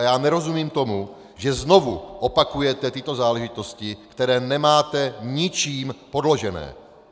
A já nerozumím tomu, že znovu opakujete tyto záležitosti, které nemáte ničím podložené!